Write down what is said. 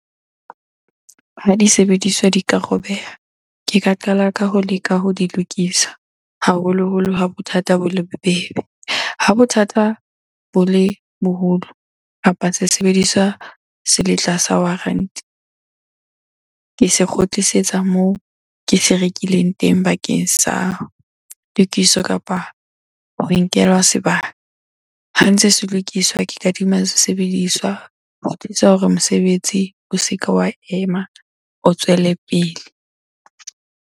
Ha di sebediswa di ka robeha, ke ka qala ka ho leka ho di lokisa haholoholo ha bothata bo le bobebe. Ha bothata bo le boholo kapa se sebediswa se le tlasa warranty. Ke se kgutlisetsa moo ke se rekileng teng bakeng sa tokiso kapa ho nkelwa sebaka. Ha ntse se lokiswa ke kadima se sebediswa hore mosebetsi o se ke wa ema, o tswelepele.